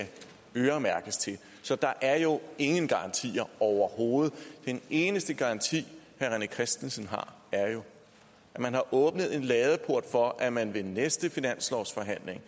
øremærkes til så der er jo ingen garantier overhovedet den eneste garanti herre rené christensen har er jo at man har åbnet en ladeport for at man ved næste finanslovsforhandlinger